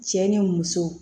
Cɛ ni muso